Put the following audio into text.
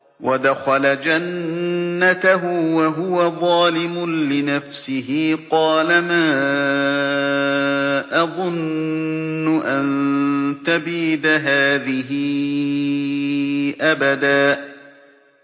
وَدَخَلَ جَنَّتَهُ وَهُوَ ظَالِمٌ لِّنَفْسِهِ قَالَ مَا أَظُنُّ أَن تَبِيدَ هَٰذِهِ أَبَدًا